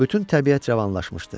Bütün təbiət cavanlaşmışdı.